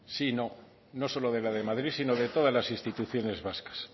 sí y no no solo de la de madrid sino de todas las instituciones vascas